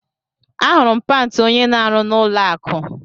Ahụrụ m pant onye na arụ na ụlọ akụ